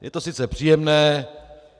Je to sice příjemné.